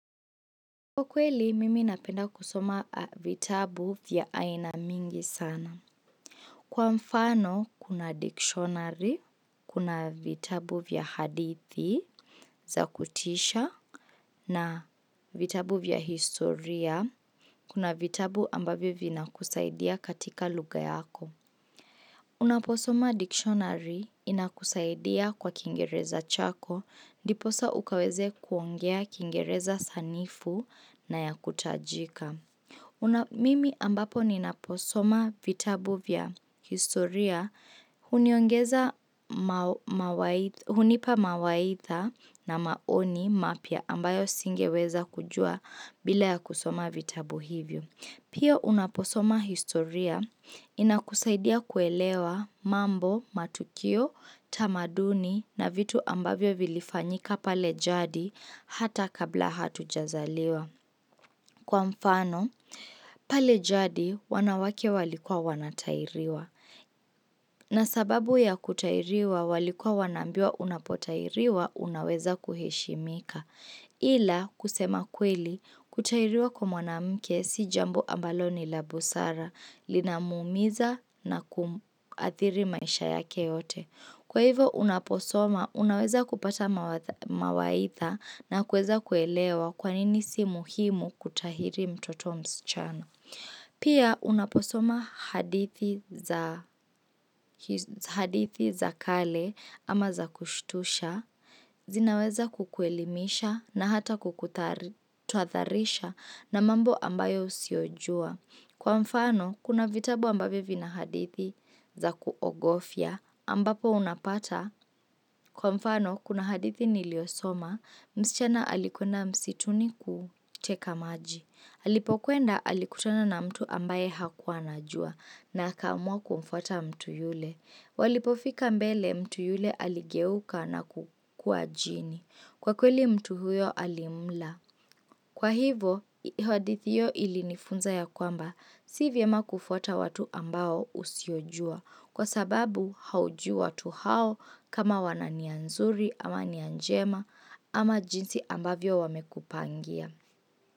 Kwa kweli, mimi napenda kusoma vitabu vya aina mingi sana. Kwa mfano, kuna dictionary, kuna vitabu vya hadithi za kutisha, na vitabu vya historia, kuna vitabu ambavyo vinakusaidia katika lugha yako. Unaposoma dictionary inakusaidia kwa kiingereza chako, ndiposa ukaweze kuongea kiingereza sanifu na ya kutajika. Mimi ambapo ninaposoma vitabu vya historia huniongeza hunipa mawaitha na maoni mapya ambayo singeweza kujua bila ya kusoma vitabu hivyo. Pia unaposoma historia inakusaidia kuelewa mambo, matukio, tamaduni na vitu ambavyo vilifanyika pale jadi hata kabla hatujazaliwa. Kwa mfano pale jadi wanawake walikua wanatairiwa na sababu ya kutairiwa walikua wanaambiwa unapotairiwa unaweza kuheshimika ila kusema kweli kutairiwa kwa mwanamke si jambo ambalo ni la busara linamuumiza na kuathiri maisha yake yote. Kwa hivo unaposoma, unaweza kupata mawaidha na kueza kuelewa kwa nini si muhimu kutahiri mtoto msichana. Pia unaposoma hadithi za kale ama za kushtusha, zinaweza kukuelimisha na hata kukutuadharisha na mambo ambayo usiojua. Kwa mfano, kuna vitabu ambavyo vina hadithi za kuogofia ambapo unapata. Kwa mfano, kuna hadithi niliosoma, msichana alikuenda msituni kuteka maji. Alipokuenda alikutana na mtu ambaye hakua anajua na akaamua kumfuata mtu yule. Walipofika mbele mtu yule aligeuka na kukua jini. Kwa kweli mtu huyo alimla. Kwa hivo, hadithi hiyo ilinifunza ya kwamba si vyema kufuata watu ambao usiojua kwa sababu haujui watu hao kama wana nia nzuri ama nia njema ama jinsi ambavyo wamekupangia.